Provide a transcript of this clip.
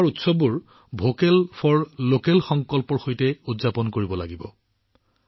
আমি আমাৰ উৎসৱটো ভোকেল ফৰ লোকেলৰ সংকল্পৰ সৈতে উদযাপন কৰিব লাগিব